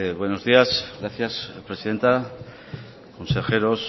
buenos días gracias presidenta consejeros